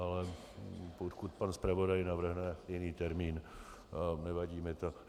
Ale pokud pan zpravodaj navrhne jiný termín, nevadí mi to.